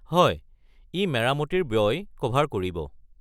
হয়, ই মেৰামতিৰ ব্য়য় ক'ভাৰ কৰিব।